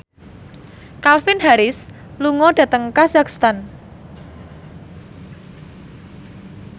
Calvin Harris lunga dhateng kazakhstan